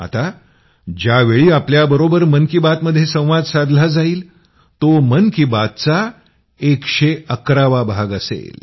आता ज्यावेळी आपल्याबरोबर मन की बात मध्ये संवाद साधला जाईल तो मन की बात चा 111वा भाग असेल